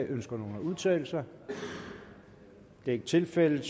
ønsker at udtale sig det er ikke tilfældet